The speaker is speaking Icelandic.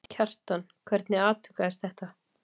Kjartan, hvernig atvikaðist þetta?